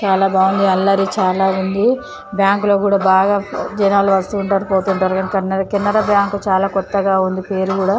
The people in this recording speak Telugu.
చాలా బాగుంది అల్లరి చాలా ఉంది బ్యాంకు లో కూడా బాగా జనాలు వస్తూ ఉంటారు పోతుంటారు కెనరా బ్యాంకు చాలా కొత్తగా ఉంది పేరు కూడా.